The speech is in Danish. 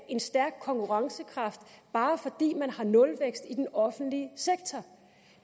en stærk konkurrencekraft bare fordi man har nulvækst i den offentlige sektor